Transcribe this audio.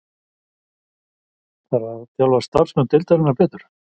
Þarf að þjálfa starfsmenn deildarinnar betur?